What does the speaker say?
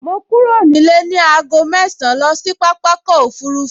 Mo kúrò nílé ní aago mẹ́ẹ̀sán lọ sí pápákọ̀ òfurufú